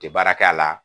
Tɛ baara kɛ a la